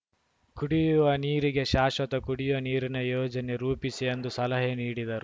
ಕುಡಿಯುವ ನೀರಿಗೆ ಶಾಶ್ವತ ಕುಡಿಯುವ ನೀರಿನ ಯೋಜನೆ ರೂಪಿಸಿ ಎಂದು ಸಲಹೆ ನೀಡಿದರು